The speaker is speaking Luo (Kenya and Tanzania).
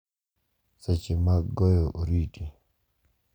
Seche mag goyo oriti,